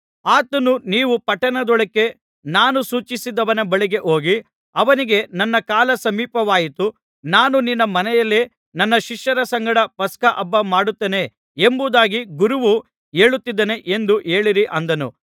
ಆತನು ನೀವು ಪಟ್ಟಣದೊಳಕ್ಕೆ ನಾನು ಸೂಚಿಸಿದವನ ಬಳಿಗೆ ಹೋಗಿ ಅವನಿಗೆ ನನ್ನ ಕಾಲ ಸಮೀಪವಾಯಿತು ನಾನು ನಿನ್ನ ಮನೆಯಲ್ಲಿ ನನ್ನ ಶಿಷ್ಯರ ಸಂಗಡ ಪಸ್ಕಹಬ್ಬ ಮಾಡುತ್ತೇನೆ ಎಂಬುದಾಗಿ ಗುರುವು ಹೇಳುತ್ತಿದ್ದಾನೆ ಎಂದು ಹೇಳಿರಿ ಅಂದನು